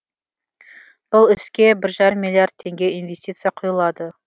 бұл іске бір жарым миллиард теңге инвестиция құйылады